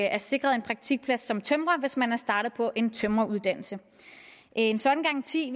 er sikret en praktikplads som tømrer hvis man er startet på en tømreruddannelse en sådan garanti